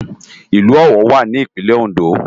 Ilù Owo wá ni Ipinlè Óndó